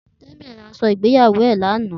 Temi rá áṣò igbéyàwó è làná